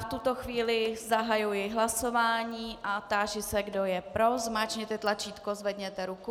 V tuto chvíli zahajuji hlasování a táži se, kdo je pro, zmáčkněte tlačítko, zvedněte ruku.